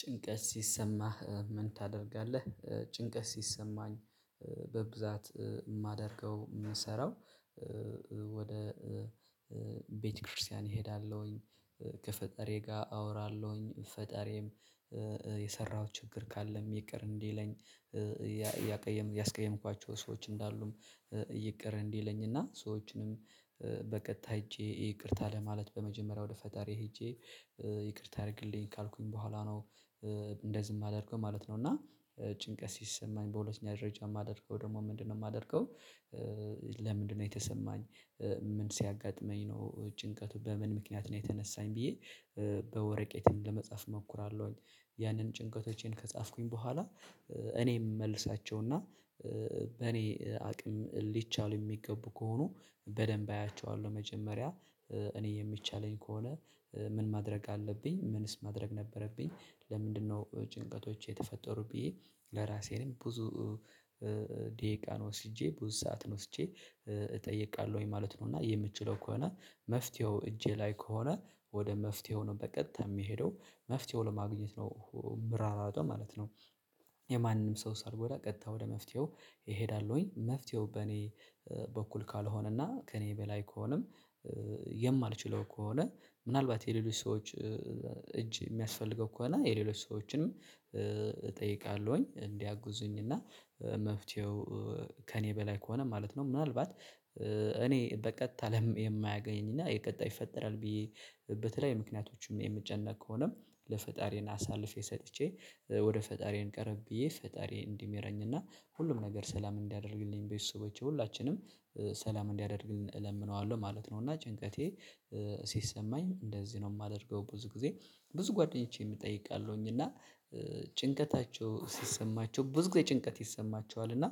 ጭንቀት ሲሰማህ ምን ታደርጋለህ? ጭንቀት ሲሰማኝ በብዛት የማደርገው የምሰራው ወደ ቤተክርስቲያን እሄዳለሁኝ። ከፈጠሬ ጋር አወራለሁኝ። ፈጣሬም የሰራሁት ችግር ካለም ይቅር እንዲለኝ፤ ያስቀየምኳቸው ሰዎች ካሉም ይቅር እንዲለኝ፤ እና እና ሰዎችንም በቀጥታ ሄጄ ይቅርታ ለማለት፤ በመጀመሪያ ወደ ፈጣሪ ሄጄ ይቅርታ ያደርግልኝ፤ ካልኩኝ በኋላ ነው እንደዚ ማደርገው ማለት ነው እና ጭንቀት ሲሰማኝ በሁለተኛ ደረጃ የማደርገው ደግሞ ምንድነው የማደርገው? ለምንድነው የተሰማኝ? ምን ሲያጋጥመኝ ነው? ጭንቀቱ በምን ምክንያት ነው የተነሳኝ? ብዬ በወረቄቴም ለመጻፍ እሞክራለሁኝ። ያንን ጭንቀቶቼን ከጻፍኩኝ በኋላ፤ እኔም እመልሳቸውና በኔ አቅም ሊቻሉ የሚገቡ ከሆኑ በደንብ አያቸዋለሁ። መጀመሪያ እኔ የሚቻለኝ ከሆነ ምን ማድረግ አለብኝ? ምንስ ማድረግ ነበረብኝ? ለምንድነው ጭንቀቶች የተፈጠሩ? ብዬ ለራሴንም ብዙ ደቂቃ ወስጄ ብዙ ሰዓት ወስጄ እጠይቃለሁኝ። ማለት ነው እና የምችለው ከሆነ መፍትሄው እጄ ላይ ከሆነ ወደ መፍትሄው ነው በቀጥታ የሚሄደው። መፍትሄው ለማግኘት ነው ምሯሯጠው ማለት ነው። የማንም ሰው ሳልጎዳ ቀጥታ ወደ መፍትሄው እሄዳለሁ። መፍትሄው በኔ በኩል ካልሆነና ከኔ በላይ ከሆነም የማልችለው ከሆነ ምናልባት የሌሎች ሰዎች እጅ የሚያስፈልገው ከሆነ የሌሎች ሰዎችንም እጠይቃለሁኝ። እንዲያጉዙኝ እና መፍትሄው ከእኔ በላይ ከሆነ ማለት ነው። ምናልባት እኔ በቀጥታ ለም የማያገኝና የቀጣይ ይፈጠራል። ብዬ በተለይ ምክንያቶችም የምጨነቅ ከሆነም ለፈጣሪን አሳልፌ ሰጥቼ ወደ ፈጣሪን ቀረብ ብዬ ፈጣሪን እንዲምረኝና እና ሁሉም ነገር ሰላም እንዲያደርግልኝ ቤተስቦቼ ሁላችንም ሰላም እንዲያደርግልን እለምነዋለሁ። ማለት ነው እና ጭንቀቴ ሲሰማኝ እንደዚህ ነው የማደርገው። ብዙ ጊዜ ብዙ ጓደኞቼም እጠይቃለሁኝ። እና ጭንቀታቸው ሲሰማቸው ብዙ ጊዜ ጭንቀት ይሰማቸዋል። እና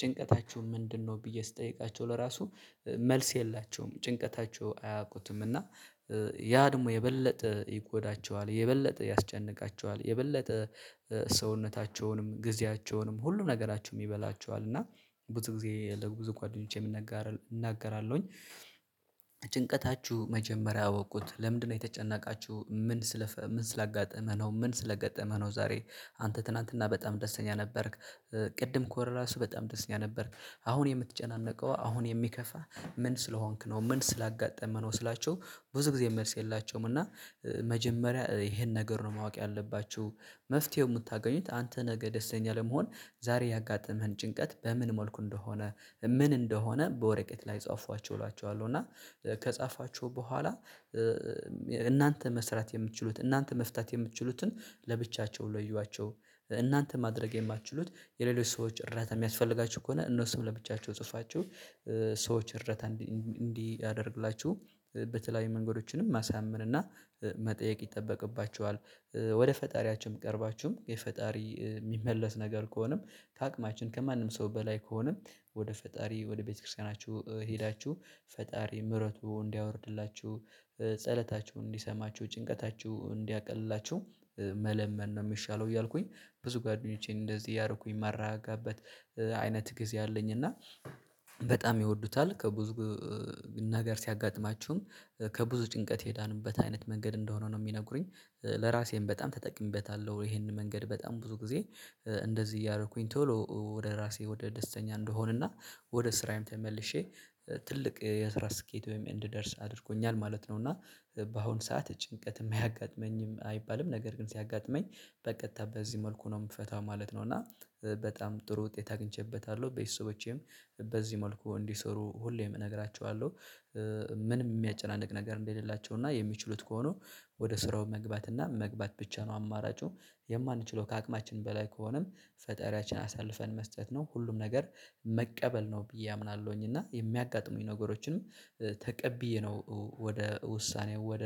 ጭንቀታችሁ ምንድነው? ብዬ ስጠይቃቸው ለራሱ መልስ የላቸውም። ጭንቀታቸው አያውቁትም። እና ያ ደግሞ የበለጠ ይጎዳቸዋል። የበለጠ ያስጨንቃቸዋል። የበለጠ ሰውነታቸውንም፣ ጊዜያቸውንም፣ ሁሉም ነገራቸውንም ይበላቸዋል፣ እና ብዙ ጊዜ ብዙ ጓደኞቼ ምናጋራ እናገራለሁኝ መጀመሪያ አወቁት ለምንድነው የተጨናቃችሁ? ምን ምን ስላጋጠመህ ነው። ምን ስለገጠመህ ነው ዛሬ አንተ ትላንትና በጣም ደስተኛ ነበርክ ቅድም ኮር ራሱ በጣም ደስተኛ ነበርክ። አሁን የምትጨናነቀው አሁን የሚከፋ ምን ስለሆንክ ነው። ምን ስላጋጠመህ ነው። ስላቸው ብዙ ጊዜ መልስ የላቸውም እና መጀመሪያ ይሄን ነገር ነው ማወቅ ያለባችሁ። መፍትሄው የምታገኙት አንተ ነገ ደስተኛ ለመሆን ዛሬ ያጋጠመህን ጭንቀት በምን መልኩ እንደሆነ ምን እንደሆነ በወረቀት ላይ ጻፏቸው እላቸዋለሁ። እና ከጻፋችሁ በኋላ እናንተ መስራት የምትችሉት እናንተ መፍታት የምትችሉትን ለብቻቸው ለይዋቸው። እናንተ ማድረግ የማትችሉት የሌሎች ሰዎች እርዳታ የሚያስፈልጋቸው ከሆነ እነሱም ለብቻቸው ጽፋችሁ። ሰዎች እርዳታ እንዲያደርግላችሁ በተለያዩ መንገዶችንም ማሳመንና መጠየቅ ይጠበቅባቸዋል። ወደ ፈጣሪያችን ቀርባችሁም የፈጣሪ የሚመለስ ነገር ከሆነም ከአቅማችን ከማንም ሰው በላይ ከሆነም ወደ ፈጣሪ ወደ ቤተክርስቲያናችሁ ሄዳችሁ ፈጣሪ ምረቱ እንዲያወርድላችሁ ጸሎታችሁን እንዲሰማችሁ ጭንቀታችሁ እንዲያቀልላችሁ መለመን ነው የሚሻለው። እያልኩኝ ብዙ ጓደኞቼን እንደዚህ እያረኩኝ ማራጋበት አይነት ጊዜ አለኝ። እና በጣም ይወዱታል። ከብዙ ነገር ሲያጋጥማችሁም ከብዙ ጭንቀት የዳንበት አይነት መንገድ እንደሆነ ነው የሚነግሩኝ ለራሴም በጣም ተጠቅሜበታለሁ። ይሄንን መንገድ በጣም ብዙ ጊዜ እንደዚህ እያደረኩኝ ቶሎ ወደ ራሴ ወደ ደስተኛ እንደሆንና ወደ ስራዬም ተመልሼ ትልቅ የስራ ስኬት ወይም እንድደርስ አድርጎኛል። ማለት ነው። እና በአሁን ሰዓት ጭንቀትም አያጋጥመኝም አይባልም ነገር ግን ሲያጋጥመኝ በቀጥታ በዚህ መልኩ ነው። የምፈታው ማለት ነው። እና በጣም ጥሩ ውጤት አግኝቼበታለሁ። ቤተሰቦቼም በዚህ መልኩ እንዲሰሩ ሁሌም እነግራቸዋለሁ። ምንም የሚያጨናንቅ ነገር እንደሌላቸው እና የሚችሉት ከሆኑ ወደ ስራው መግባት እና መግባት ብቻ ነው አማራጩ የማንችለው ከአቅማችን በላይ ከሆነም ፈጠሪያችን አሳልፈን መስጠት ነው። ሁሉም ነገር መቀበል ነው ብዬ አምናለሁኝ። እና የሚያጋጥሙኝ ነገሮችንም ተቀብዬ ነው ወደ ውሳኔ ወደ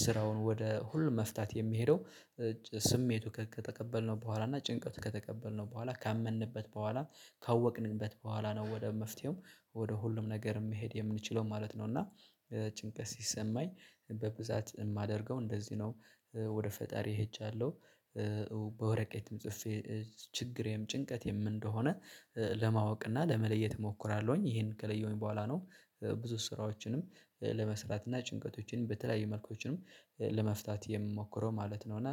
ስራውን ወደ ሁሉ መፍታት የሚሄደው ስሜቱ ከተቀበልነው በኋላ እና ጭንቀቱ ከተቀበልነው በኋላ ካመንንበት በኋላ ካወቅንበት በኋላ ነው። ወደ መፍትሄው ወደ ሁሉም ነገር መሄድ የምንችለው ማለት ነው። እና ጭንቀት ሲሰማኝ በብዛት የማደርገው እንደዚህ ነው። ወደ ፈጣሪ ሄጃለሁ። በወረቀትም ጽፌ ችግሬም ጭንቀትም እንደሆነ ለማወቅ እና ለመለየት እሞክራለሁኝ። ይሄን ከለየሁኝ በኋላ ነው ብዙ ስራዎችንም ለመስራት እና ጭንቀቶችንም በተለያየ መልኮችንም ለመፍታት የምሞክረው ማለት ነው። እና